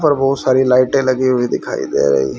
ऊपर बहुत सारी लाइटें लगी हुई दिखाई दे रही।